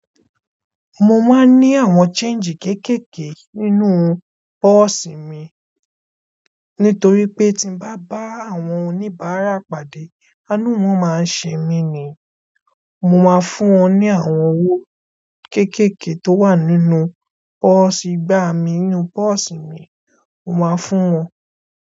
Mo máa ń ní àwọn change kéékèèké nínú pọ́ọ̀sì mi. Nítorí pé tí n bá bá àwọn oní bárà pàdé, àánú wọ́n máa ń ṣe mí ni. Mo máa fún wọn ní àwọn owó kéékèèké tó wà nínú pọ́ọ̀sì, nígbà mi nínú pọ́ọ̀sì mi, mo máa fún wọn.